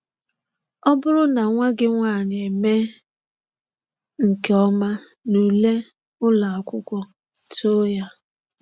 Ọ bụrụ na nwa gị nwaanyị emee nke ọma n'ule ụlọ akwụkwọ, too ya.